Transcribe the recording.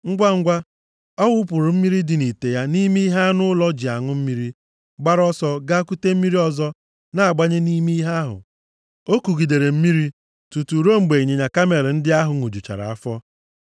Ngwangwa, ọ wụpụrụ mmiri dị nʼite ya nʼime ihe anụ ụlọ ji aṅụ mmiri, gbara ọsọ gaa kute mmiri ọzọ na-agbanye nʼime ihe ahụ. O kugidere mmiri tutu ruo mgbe ịnyịnya kamel ndị ahụ ṅụjuchara afọ.